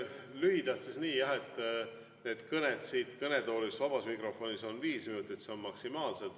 Lühidalt: need kõned siit kõnetoolist vabas mikrofonis on viis minutit, see on maksimaalselt.